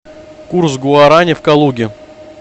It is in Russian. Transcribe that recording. курс гуарани в калуге